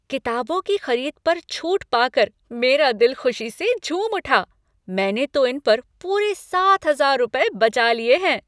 किताबों की खरीद पर छूट पाकर मेरा दिल खुशी से झूम उठा। मैंने तो इन पर पूरे सात हज़ार रुपए बचा लिए हैं!